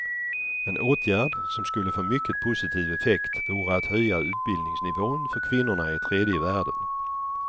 En åtgärd som skulle få mycket positiv effekt vore att höja utbildningsnivån för kvinnorna i tredje världen.